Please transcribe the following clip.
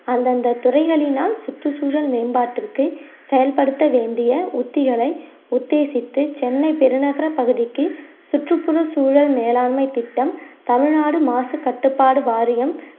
அந்தந்த துறைகளினால் சுற்றுச்சூழல் மேம்பாட்டிற்கு செயல்படுத்த வேண்டிய உத்திகளை உத்தேசித்து சென்னை பெருநகர பகுதிக்கு சுற்றுப்புற சூழல் மேலாண்மை திட்டம் தமிழ்நாடு மாசு கட்டுப்பாடு வாரியம்